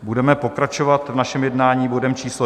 Budeme pokračovat v našem jednání bodem číslo